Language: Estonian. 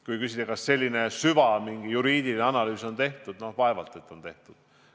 Kui küsida, kas selline süvajuriidiline analüüs on tehtud – no vaevalt, et on tehtud.